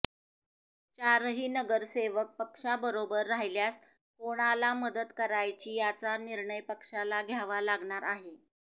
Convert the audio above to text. चारही नगरसेवक पक्षाबरोबर राहिल्यास कोणाला मदत करायची याचा निर्णय पक्षाला घ्यावा लागणार आहे